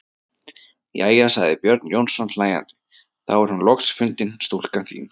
Jæja, sagði Björn Jónsson hlæjandi:-Þá er hún loks fundin stúlkan þín.